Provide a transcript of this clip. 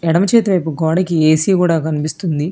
ఎడమ చేతి వైపు గోడకి ఏ_సి గూడా కనిపిస్తుంది.